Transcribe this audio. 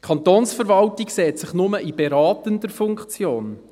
Die Kantonsverwaltung sieht sich nur in beratender Funktion.